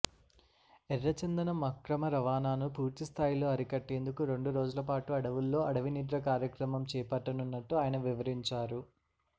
ఎర్రచందనం అక్రమ రవాణాను పూర్తిస్థాయిలో అరికట్టేందుకు రెండురోజులపాటు అడవుల్లో అడవినిద్ర కార్యక్రమం చేపట్టనున్నట్ల ఆయన వివరించారు